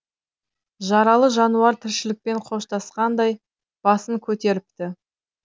жаралы жануар тіршілікпен қоштасқандай басын көтеріпті